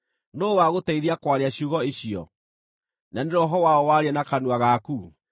Nũũ wagũteithia kwaria ciugo icio? Na nĩ roho waũ waria na kanua gaku?